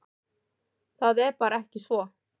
Það er bara ekki svo.